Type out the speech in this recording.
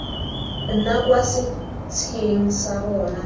nna kwa setsheng sa bona